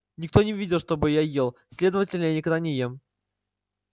никто не видел чтобы я ел следовательно я никогда не ем